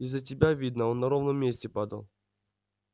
из за тебя видно он на ровном месте падал